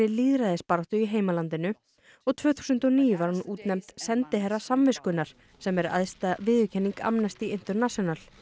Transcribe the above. lýðræðisbaráttu í heimalandinu og tvö þúsund og níu var hún útnefnd sendiherra samviskunnar sem er æðsta viðurkenning Amnesty International